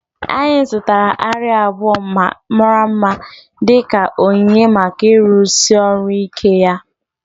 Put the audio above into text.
Anyị zụtara arịa abụọ mara mma dị ka onyinye maka ịrụsi ọrụ ike ya